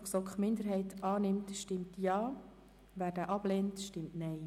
Wer diesen annimmt, stimmt Ja, wer diesen ablehnt, stimmt Nein.